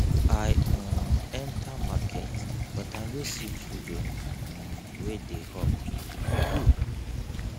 i um enter market but i no see children um wey dey hawk e good